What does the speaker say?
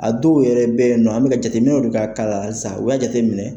A dɔw yɛrɛ bɛ yen nɔ an bɛ ka jateminɛw de bɛ ka k'a la halisan u y'a jate minɛ.